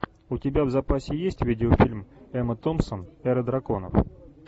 у тебя в запасе есть видеофильм эмма томпсон эра драконов